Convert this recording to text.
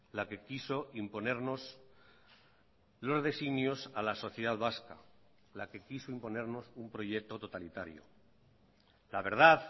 la que quiso imponernos los designios a la sociedad vasca la que quiso imponernos un proyecto totalitario la verdad